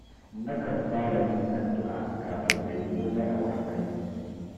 Nakan fara yin addu’a kafin na yi komai a wurin aiki